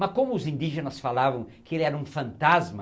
Mas como os indígenas falavam que ele era um fantasma,